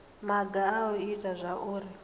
maga a u ita zwauri